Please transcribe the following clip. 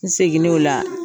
N seginen o la